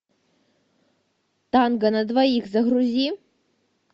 танго на двоих загрузи